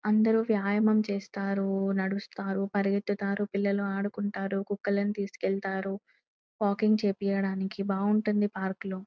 అందరూ వ్యాయామం చేస్తారు నడుస్తారు పరిగెడతారు పిల్లలు ఆడుకుంటారు కుక్కలను తీసుకెళ్లారు వాకింగ్ చేపియడానికి బాగుంటుంది పార్కు లో.